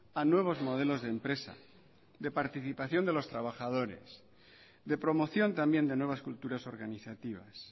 a nuevos modelos de empresa de participación de los trabajadores de promoción también de nuevas culturas organizativas